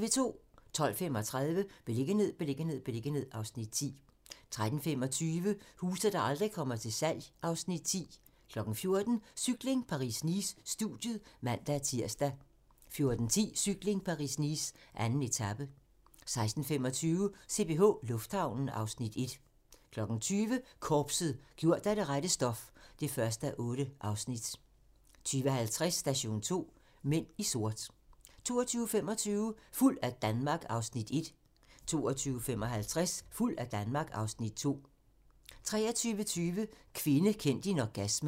12:35: Beliggenhed, beliggenhed, beliggenhed (Afs. 10) 13:25: Huse, der aldrig kommer til salg (Afs. 10) 14:00: Cykling: Paris-Nice - studiet (man-tir) 14:10: Cykling: Paris-Nice - 2. etape 16:25: CPH Lufthavnen (Afs. 1) 20:00: Korpset - gjort af det rette stof (1:8) 20:50: Station 2: Mænd i sort 22:25: Fuld af Danmark (Afs. 1) 22:55: Fuld af Danmark (Afs. 2) 23:20: Kvinde, kend din orgasme